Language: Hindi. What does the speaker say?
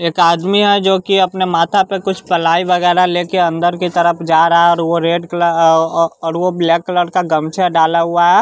एक आदमी है जोकि अपने माथा पे कुछ पलाई वगैरा लेके अंदर की तरफ जा रहा और वो रेड कलर औ और ब्लैक कलर का गमछा डाला हुआ है।